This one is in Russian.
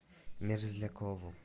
мерзлякову